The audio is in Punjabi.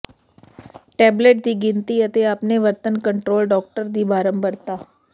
ਟੇਬਲੇਟ ਦੀ ਗਿਣਤੀ ਅਤੇ ਆਪਣੇ ਵਰਤਣ ਕੰਟਰੋਲ ਡਾਕਟਰ ਦੀ ਬਾਰੰਬਾਰਤਾ